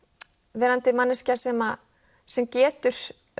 verandi manneskja sem sem getur